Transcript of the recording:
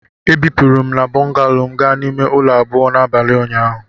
Ebupụrụ m bungalow m gaa n'ime ụlọ abụọ n'abalị ụnyaahụ.